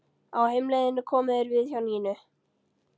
Á heimleiðinni komu þeir við hjá Nínu.